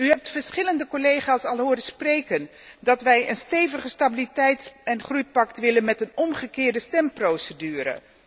U hebt verschillende collega's al horen zeggen dat wij een steviger stabiliteits en groeipact willen met een omgekeerde stemprocedure.